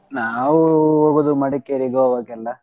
ನಾವು ಹೋಗೋದು Madikeri, Goa ಕ್ಕೆಲ್ಲ.